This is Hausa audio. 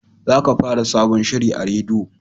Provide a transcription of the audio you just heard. Za ka fara sabon shiri a rediyo!